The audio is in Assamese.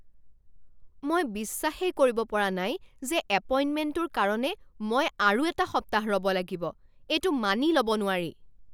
মই বিশ্বাসেই কৰিব পৰা নাই যে এপইণ্টমেণ্টটোৰ কাৰণে মই আৰু এটা সপ্তাহ ৰ'ব লাগিব। এইটো মানি ল'ব নোৱাৰি।